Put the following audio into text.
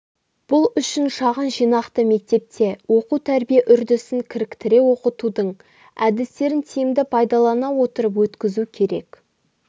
бұл үшін шағын жинақты мектепте оқу-тәрбие үрдісін кіріктіре оқытудың әдістерін тиімді пайдалана отырып өткізу керек